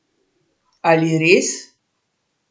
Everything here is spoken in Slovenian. Ali res?